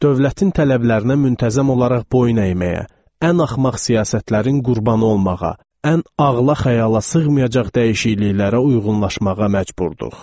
Dövlətin tələblərinə müntəzəm olaraq boyun əyməyə, ən axmaq siyasətlərin qurbanı olmağa, ən ağıla-xəyala sığmayacaq dəyişikliklərə uyğunlaşmağa məcburduq.